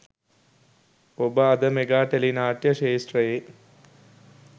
ඔබ අද mega tele නාට්‍ය ක්ෂේත්‍රයේ